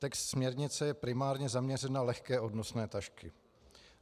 Text směrnice je primárně zaměřen na lehké odnosné tašky.